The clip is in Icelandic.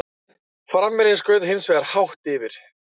Framherjinn skaut hins vegar hátt yfir.